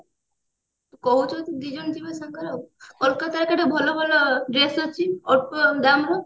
ତୁ କହୁଛୁ ଯଦି ଦି ଜଣ ଯିବା କୋଲକତା ରେ କେତେ ଭଲ ଭଲ dress ଅଛି ଅଳ୍ପ ଦାମ ରେ